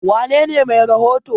wanene Mai rahoto?